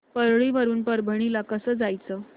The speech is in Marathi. परळी वरून परभणी ला कसं जायचं